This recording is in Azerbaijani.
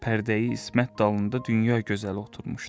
Pərdəyi İsmət dalında dünya gözəli oturmuşdu.